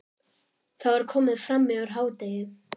Það var komið fram yfir hádegi.